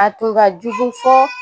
A tun ka jugu fɔ